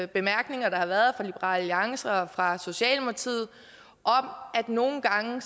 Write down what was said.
bemærkninger der har været fra liberal alliance og fra socialdemokratiet om at nogle gange